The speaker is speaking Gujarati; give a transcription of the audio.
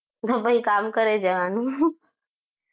તો તો પછી કામ કરે જવાનુ